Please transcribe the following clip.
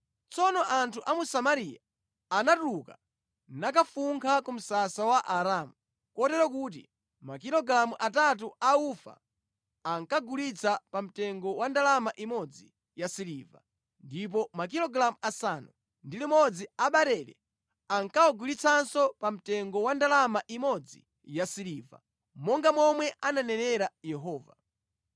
Tsono anthu a mu Samariya anatuluka nakafunkha ku msasa wa Aaramu. Kotero kuti makilogalamu atatu a ufa ankawagulitsa pa mtengo wa ndalama imodzi yasiliva, ndipo makilogalamu asanu ndi limodzi a barele ankawagulitsanso pa mtengo wa ndalama imodzi yasiliva, monga momwe ananenera Yehova.